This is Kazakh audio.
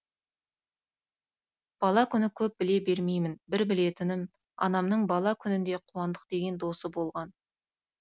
бала күні көп біле бермеймін бір білетінім анамның бала күнінде қуандық деген досы болған